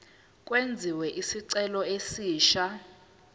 kwenziwe isicelo esisha